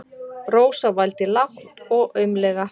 Rósa vældi lágt og aumlega.